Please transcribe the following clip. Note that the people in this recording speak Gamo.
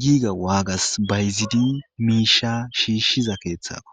giiga waagas bayizidi miishsha shiishshiza keeththakko.